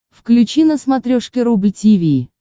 включи на смотрешке рубль ти ви